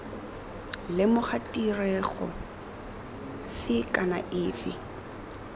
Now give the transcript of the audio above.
lemoga tirego fe kana efe